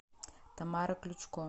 тамара ключко